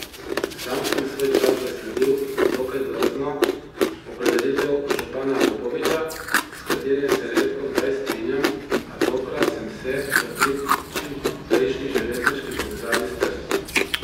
Sam sem svoj čas zasledil dokaj drzno opredelitev župana Popoviča, s katerim se redkokdaj strinjam, a tokrat sem se, v prid čimprejšnji železniški povezavi s Trstom.